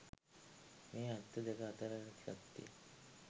මේ අන්ත දෙක අතර ඇති සත්‍යය